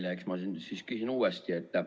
Eks ma siis küsin uuesti.